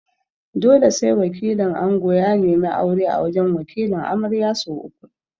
Dole ne sai wakilin ango ya neme aure a wajan Wakilin amarya sau uku